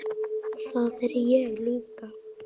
Það er ég líka